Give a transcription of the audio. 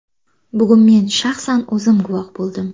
Bugun men shaxsan o‘zim guvoh bo‘ldim.